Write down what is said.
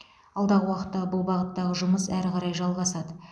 алдағы уақытта бұл бағыттағы жұмыс әрі қарай жалғасады